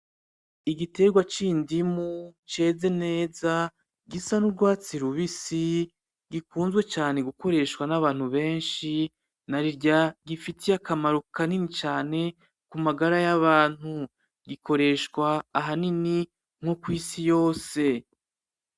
Igitegwa c'indimu ceze neza gisa n’urwatsi rubisi gikunzwe cane gukoreshawa nabantu benshi, narirya gifitiye akamaro kanini cane kumagara yabantu gikoreshwa ahanini no kwisi yose.